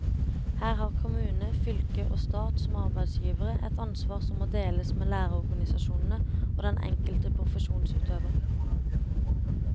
Her har kommune, fylke og stat som arbeidsgivere et ansvar som må deles med lærerorganisasjonene og den enkelte profesjonsutøver.